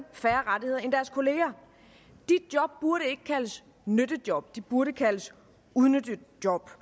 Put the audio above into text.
færre rettigheder end deres kollegaer de job burde ikke kaldes nyttejob de burde kaldes udnyttejob